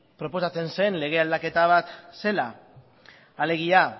proposatzen zen lege aldaketa bat zela alegia